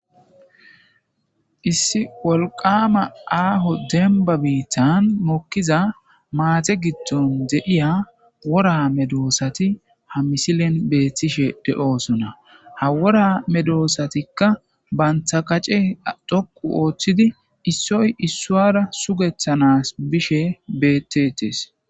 Issi wolqama aho demba bitan mokiza Sinthan mate gidon de'iya wora medosat de'osona, ha wora medosatika banta kace dhoqu otid issoy isara sugetanas bishe bettetes .